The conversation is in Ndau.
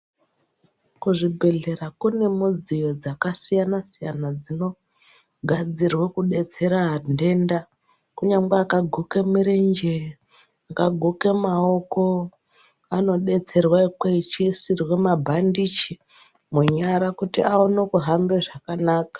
Kuzvibhedhlera kune midziyo dzakasiyana siyana dzinogadzira kudetsera anhu ndenda kunyangwe wakaguka murenje ungaguka maoko vanodetserwa vachiisirwa mabhandichi munyara kuti aone kuhamba zvakanaka.